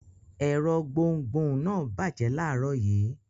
Ẹ̀rọ gbohùngbohùn náà bàjẹ́ láàárọ̀ yìí.